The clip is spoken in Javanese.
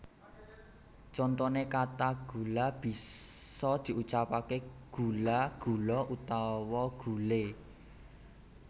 Contone kata gula bisa diucapke gula gulo utawa gule